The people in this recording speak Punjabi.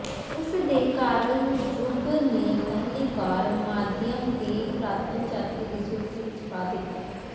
ਉਸਦੇ ਕਾਰਲ ਜੂਗ ਨੇ ਪਹਿਲੀ ਵਾਰ ਮਾਧਿਅਮ ਦੀ ਪੁਰਾਤਨ ਜਾਤੀ ਦੀ ਸੂਚੀ ਵਿੱਚ ਪਾ ਦਿੱਤਾ